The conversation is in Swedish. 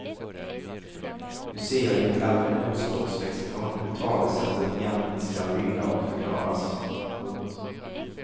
Nu ser jag i ett äldre ordspråkslexikon hur talesättet egentligen skall lyda och förklaras. punkt